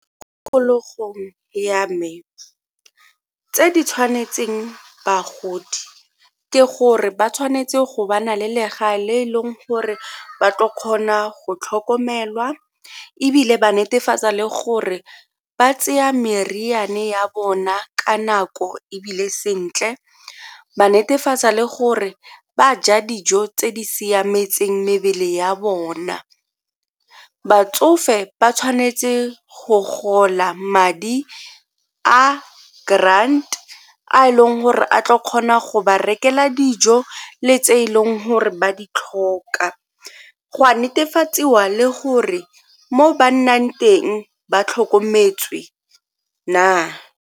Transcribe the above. Tikologong ya me tse di tshwanetseng bagodi ke gore ba tshwanetse go ba na le legae le e leng gore ba tlo kgona go tlhokomelwa ebile ba netefatsa le gore ba tseya meriane ya bona ka nako ebile sentle ba netefatsa le gore ba ja dijo tse di siametseng mebele ya bona. Batsofe ba tshwanetse go gola madi a grant a e leng gore a tla kgona go ba rekela dijo le tse e leng gore ba di tlhoka, go a netefadiwa le gore mo ba nnang teng ba tlhokometswe na.